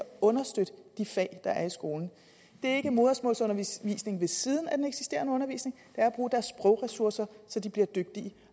understøtte de fag der er i skolen det er ikke en modersmålsundervisning ved siden af den eksisterende undervisning men er at bruge deres sprogressourcer så de bliver dygtige